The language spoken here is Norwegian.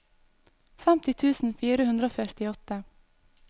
femti tusen fire hundre og førtiåtte